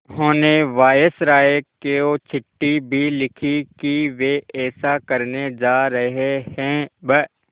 उन्होंने वायसरॉय को चिट्ठी भी लिखी है कि वे ऐसा करने जा रहे हैं ब्